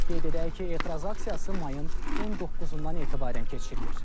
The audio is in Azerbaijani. Qeyd edək ki, etiraz aksiyası mayın 19-dan etibarən keçirilir.